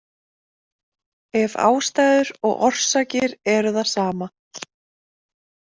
Ef ástæður og orsakir eru það sama.